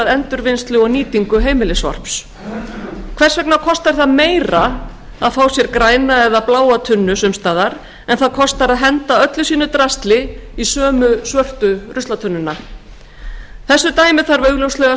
endurvinnslu og nýtingu heimilissorps hvers vegna kostar það meira að fá sér græna eða bláa tunnu en það kostar að henda öllu sínu drasli í sömu svörtu tunnu þessu dæmi þarf augljóslega að